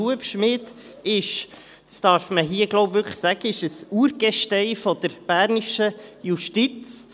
Hubschmid ist – das darf man hier wohl wirklich sagen – ein Urgestein der bernischen Justiz.